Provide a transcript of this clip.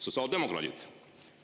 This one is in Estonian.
Sotsiaaldemokraadid.